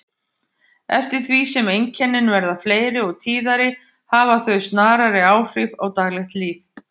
Eftir því sem einkennin verða fleiri og tíðari hafa þau snarari áhrif á daglegt líf.